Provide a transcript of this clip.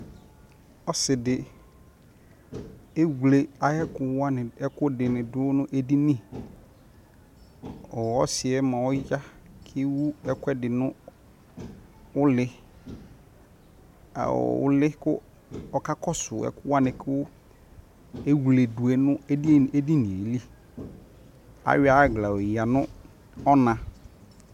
Ɔsi di ewle ayʋɛkʋwani ɛkʋdi ni dʋ nʋ edini Ɔsi yɛ mua ɔya kʋ ewu ɛkʋɛdi nʋ ule aw ule kʋ okakɔsʋ ɛkʋwani kʋ ewledʋ yɛ nʋ edini yɛ lι Ayɔ agla yoyadʋ nʋ ɔna